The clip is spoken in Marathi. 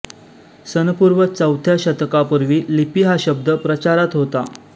सनपूर्व चौथ्या शतकापूर्वी लिपी हा शब्द प्रचारात होता